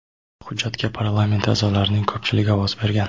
Hujjatga parlament a’zolarining ko‘pchiligi ovoz bergan.